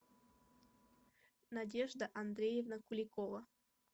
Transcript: надежда андреевна куликова